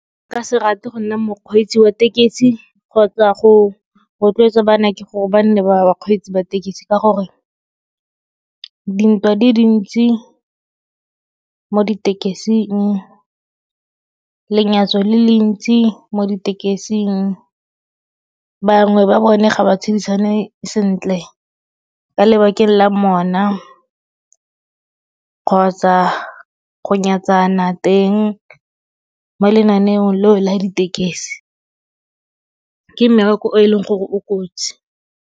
Nka se rate go nna mokgweetsi wa tekesi kgotsa go rotloetsa banake gore ba nne bakgweetsi ba tekesi ka gore dintwa di dintsi mo ditekising, lenyatso le le ntsi mo ditekesing. Bangwe ba bone ga ba tshedisane sentle ka lebakeng la mona kgotsa go nyatsana teng mo lenaneong leo la ditekesi. Ke mmereko o e leng gore o kotsi.